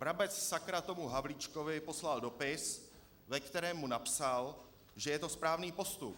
Brabec, sakra, tomu Havlíčkovi poslal dopis, ve kterém mu napsal, že je to správný postup.